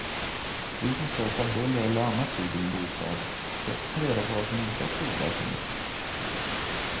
Du som störs av buller eller annat ljud i din bostad, försök ta reda på vad som orsakar oväsendet.